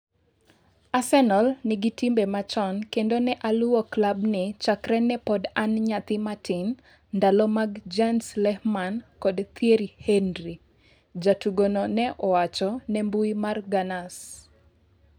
"Arsenal nigi timbe machon kendo ne aluwo klabni chakre ne pod an nyathi matin, ndalo mag Jens Lehmann kod Thierry Henry," jatugo no ne owacho ne mbui mar Gunners.